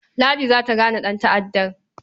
Ladi za ta gane ɗanta'ddan.